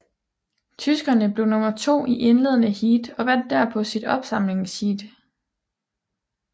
Tyskerne blev nummer to i indledende heat og vandt derpå sit opsamlingsheat